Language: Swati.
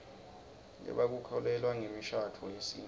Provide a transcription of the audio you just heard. lebaku kholelwa nzemishaduo yesitfu